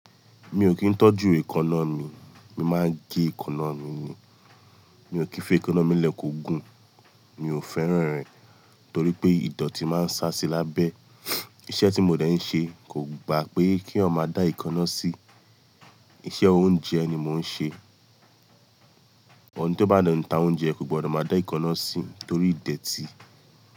Mi ò kí ń tọ́jú èkọ̀nà mi, mi máa ń gé èkọ̀nà mi ni. Mi ò kífè ékọ̀nà mi lẹ́kòó gùn mi ò fẹ́ràn rẹ̀ torí pé ìdọ̀tí máa ń ṣá sí i lábẹ́. Iṣẹ́ tí mo dẹ̀ ń ṣe kò gba pé kí eyan máa dá èkọ̀nà sí, iṣẹ́ oúnjẹ ni mò ń ṣe. Ọ̀un tí ó bá de n ta oúnjẹ kò gbọdọ̀ máa dá èkọ̀nà sí torí ìdẹ̀ti.